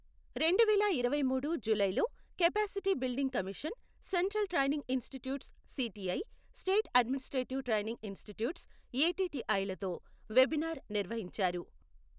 రెండువేల ఇరవైమూడు జూలైలో capacity building commission, central training institutes CTI, state administrative training institutes ATI లతో వెబినార్ నిర్వహించారు.